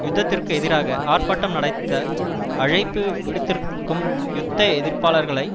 யுத்தத்திற்கு எதிராக ஆர்ப்பாட்டம் நடத்த அழைப்பு விடுத்திருக்கும் யுத்த எதிர்ப்பாளர்களை